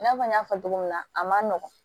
I n'a fɔ n y'a fɔ cogo min na a ma nɔgɔn